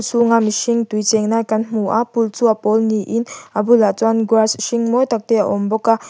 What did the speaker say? chhungah mihring tui cheng lai kan hmu a pool chu a pawl niin a bulah chuan grass hring mawi tak te a awm bawk a.